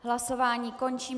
Hlasování končím.